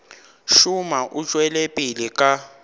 šoma o tšwela pele ka